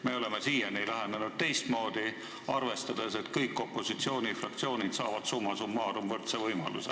Me oleme siiani lähenenud teistmoodi, arvestades, et kõik opositsioonifraktsioonid saavad summa summarum võrdse võimaluse.